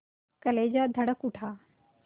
कलेजा धड़क उठा